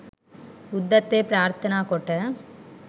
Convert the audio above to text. බුද්ධත්වය ප්‍රාර්ථනා කොට